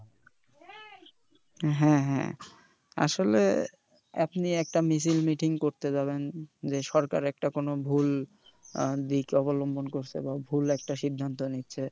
হ্যাঁ হ্যাঁ আসলে আপনি একটা মিছিল meeting করতে যাবেন যে সরকারের একটা কোন ভুল দিক অবলম্বন করছে বা ভুল একটা সিদ্ধান্ত নিচ্ছে